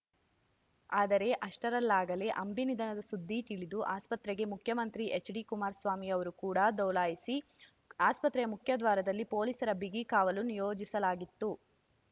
ಆದರೆ ಅಷ್ಟರಲ್ಲಾಗಲೇ ಅಂಬಿ ನಿಧನದ ಸುದ್ದಿ ತಿಳಿದು ಆಸ್ಪತ್ರೆಗೆ ಮುಖ್ಯಮಂತ್ರಿ ಎಚ್‌ಡಿಕುಮಾರಸ್ವಾಮಿ ಅವರು ಕೂಡ ದೌಲಾಯಿಸಿ ಆಸ್ಪತ್ರೆಯ ಮುಖ್ಯ ದ್ವಾರದಲ್ಲಿ ಪೋಲೀಸರ ಬಿಗಿ ಕಾವಲು ನಿಯೋಜಿಸಲಾಗಿತ್ತು